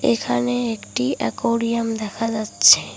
এখানে একটি একুরিয়াম দেখা যাচ্ছে।